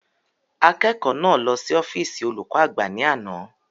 Akẹ́kọ̀ọ́ náà lọ sí ọ́físì olùkọ́ àgbà ni ana